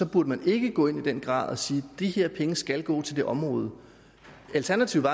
burde man ikke gå ind i den grad og sige de her penge skal gå til det område alternativet